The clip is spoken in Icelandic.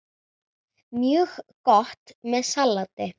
Mjög gott með salati.